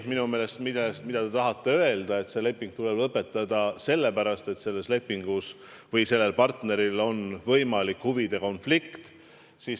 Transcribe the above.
Minu meelest te tahate öelda, et see leping tuleb lõpetada sellepärast, et selle lepingu või selle partneri puhul on mängus võimalik huvide konflikt.